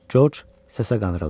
Corc səsə qandırıldı.